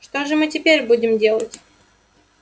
что же мы теперь будем делать